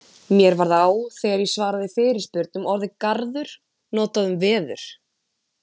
mér varð á þegar ég svaraði fyrirspurn um orðið garður notað um veður